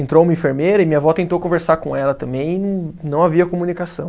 Entrou uma enfermeira e minha vó tentou conversar com ela também e não havia comunicação.